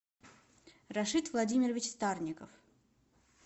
рашид владимирович старников